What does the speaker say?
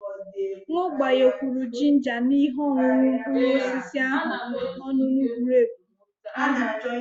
M gbakwunyere ginger na ihe ọṅụṅụ mkpụrụ osisi ihe ọṅụṅụ grepu ahụ nkè mèrè ọ jírí nwèrè ezigbo ihe na azụ anụ ahụ